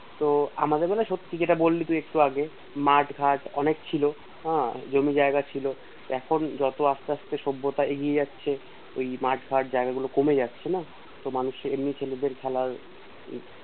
তো আমাদের না সত্যি যেটা বললি তুই একটু আগে যেটা তুই বললি একটু আগে মাদ ফ্যাট অনেক ছিল হে জায়গা ছিল এখন যত্তই আসতে আসতে সভ্যতা এগিয়ে যাচ্ছে এই মাদ ফ্যাট জায়গাগুলো কমে কাছে না তো মানুষের এমনি খেলার জায়গাটাও কমে